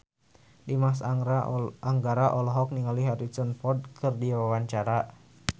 Dimas Anggara olohok ningali Harrison Ford keur diwawancara